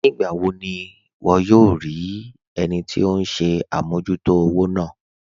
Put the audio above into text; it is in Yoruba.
Nígbàwò ní wọ́ yòò rí ẹnì tí ọ̀hun ṣẹ̀ àmọ̀jútò òwò náà?